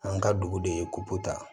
An ka dugu de ye kopota